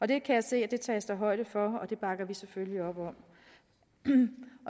det kan jeg se at der tages højde for og det bakker vi selvfølgelig op om